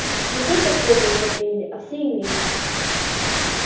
не только светлые его приняли а все иные